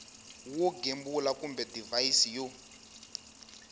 wo gembula kumbe divhayisi yo